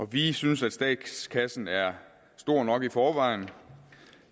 vi synes at statskassen er stor nok i forvejen